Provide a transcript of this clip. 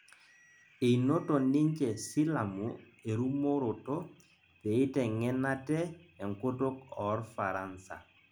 Einoto ninje silamu erumoroto peeiteng'en ate enkutuk orfaransa